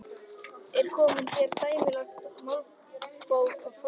Er komið hér á dæmigert málþóf að þínu mati?